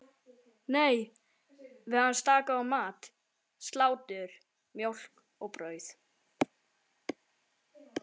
Nei, við höfðum staðgóðan mat: Slátur, mjólk og brauð.